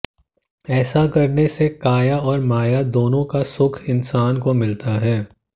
ऐसा करने से काया और माया दोनों का सुख इंसान को मिलता है